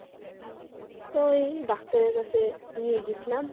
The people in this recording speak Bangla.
ওই ডাক্তারের কাছে নিয়ে গেছিলাম